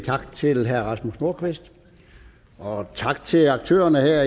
tak til herre rasmus nordqvist og tak til aktørerne her